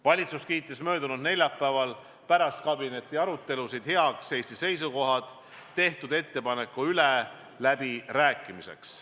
Valitsus kiitis möödunud neljapäeval pärast kabinetiarutelusid heaks Eesti seisukohad tehtud ettepaneku üle läbirääkimiseks.